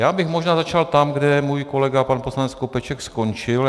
Já bych možná začal tam, kde můj kolega pan poslanec Skopeček skončil.